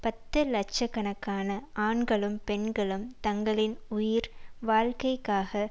பத்து லட்ச கணக்கான ஆண்களும் பெண்களும் தங்களின் உயிர் வாழ்க்கைக்காக